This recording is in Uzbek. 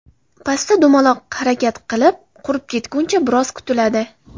Pasta dumaloq harakat bilan qurib ketguncha biroz kutiladi.